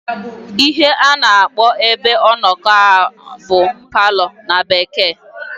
Ihe a na-akpọ ebe ọnọkọ a bụ palọ na Bekee.